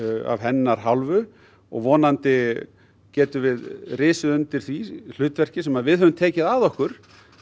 af hennar hálfu og vonandi getum við risið undir því hlutverki sem við höfum tekið að okkur